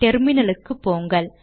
டெர்மினலுக்கு போங்கள்